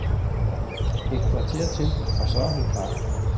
Et kvarter til og så er hun klar.